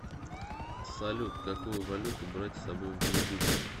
салют какую валюту брать с собой в джибути